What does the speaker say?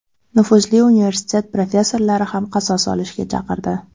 Nufuzli universitet professorlari ham qasos olishga chaqirdi.